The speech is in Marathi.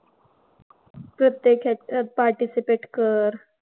प्रत्येक ह्याच्यात participate कर.